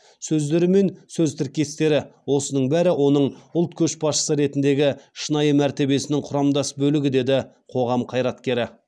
сөздері мен сөз тіркестері осының бәрі оның ұлт көшбасшысы ретіндегі шынайы мәртебесінің құрамдас бөлігі деді қоғам қайраткері